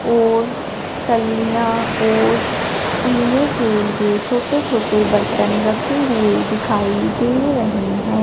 और टलियां और पीने के लिए छोटे छोटे बर्तन रखे हुए दिखाई दे रहें हैं।